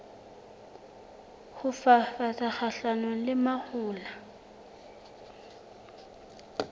ho fafatsa kgahlanong le mahola